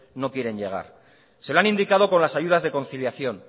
no quieren llegar se lo han indicado con las ayudas de conciliación